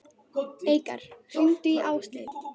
Eikar, hringdu í Ásleif.